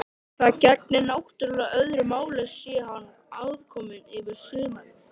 Það gegnir náttúrlega öðru máli sé hann aðkominn yfir sumarið.